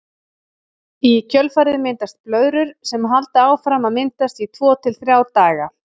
Í kjölfarið myndast blöðrur sem halda áfram að myndast í tvo til þrjá daga.